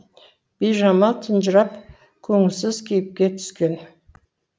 бижамал тұнжырап көңілсіз кейіпке түскен